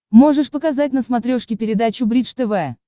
можешь показать на смотрешке передачу бридж тв